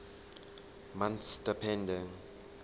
months depending